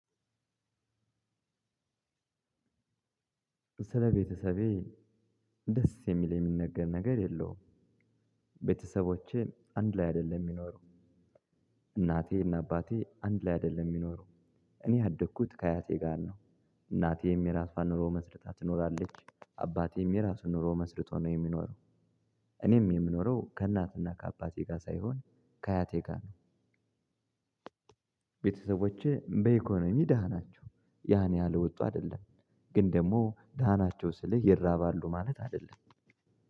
ስለቤተሰቤ ደስ የሚል የሚነገር ነገር የለውም። ቤተሰቦቼን አንድ ላይ አይደለም ሚኖሩ። እናቴና አባቴ አንድ ላይ አይደለም የሚኖረው። እኔ ያደግኩት ከአያቴ ጋር ነው። እናቴም የራሷን ኑሮ መስርታት ትኖራለች አባቴም የራሱ ኑሮ መስርቶ ነው የሚኖረው። እኔም የምኖረው ከእናትና ከአባቴ ጋር ሳይሆን ከአያቴ ጋር ነው። ቤተሰቦቼ በኢኮኖሚ ደሃ ናቸው። ያን ያህል ወጡ አይደለም። ግን ደግሞ ደሃ ናቸው ስልህ ይራባሉ ማለት አይደለም።